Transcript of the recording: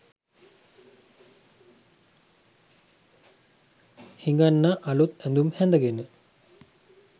හිඟන්නා අලුත් ඇඳුම් හැඳගෙන